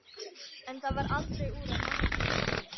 En það varð aldrei úr að mamma fengi vínið.